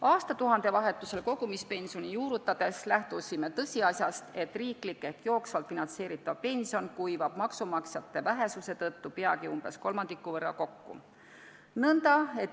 Aastatuhandevahetusel kogumispensioni juurutades lähtusime tõsiasjast, et riiklikult ehk jooksvalt finantseeritav pension kuivab maksumaksjate vähesuse tõttu peagi umbes kolmandiku võrra kokku.